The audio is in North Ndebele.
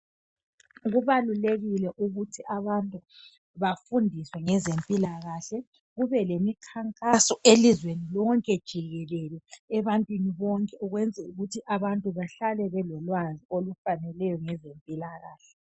Kubalulekile ukuthi bafundiswe ngezempilakahle kube lemikhankaso elizweni lonke jikelele ebantwini bonke ukwenzela ukuthi abantu behlale belolwazi ngezempilakahle